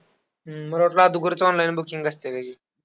हम्म मला वाटलं अदुगरच online booking असतेय काय की.